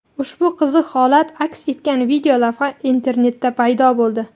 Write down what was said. Ushbu qiziq holat aks etgan videolavha internetda paydo bo‘ldi.